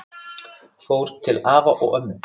Fór til afa og ömmu.